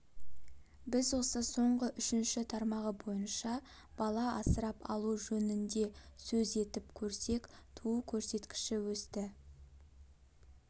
біз осы соңғы үшінші тармағы бойынша бала асырап алу жөнінде сөз етіп көрсек туу көрсеткіші өсті